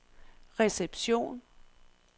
reception